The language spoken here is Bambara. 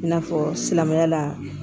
I n'a fɔ silamɛya la